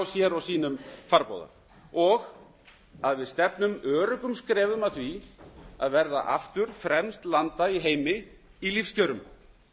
sér og sínum farborða og að við stefnum öruggum skrefum að því að verða aftur fremst landa í heimi í lífskjörum